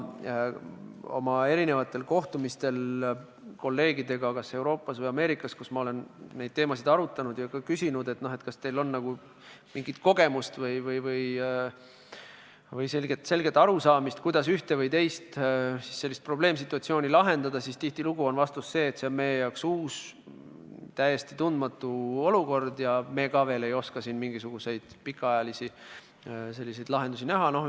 Oma kohtumistel kolleegidega kas Euroopas või Ameerikas, kus ma olen neid teemasid arutanud ja küsinud, kas neil on mingit kogemust või selget arusaamist, kuidas ühte või teist probleemsituatsiooni lahendada, on tihtilugu olnud vastus see, et see on nende jaoks uus, täiesti tundmatu olukord ja nemadki ei oska siin veel mingisuguseid pikaajalisi lahendusi näha.